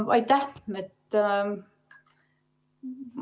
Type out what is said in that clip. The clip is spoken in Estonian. Aitäh!